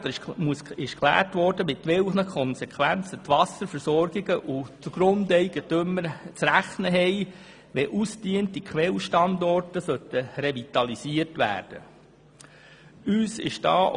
Hier wurde geklärt, mit welchen Konsequenzen die Wasserversorger und die Grundeigentümer rechnen müssen, wenn ausgediente Quellstandorte revitalisiert werden sollen.